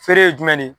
Feere ye jumɛn de ye